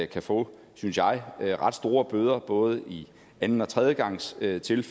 kan få synes jeg ret store bøder både i anden og tredjegangstilfælde